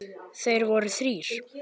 Þeir voru þrír.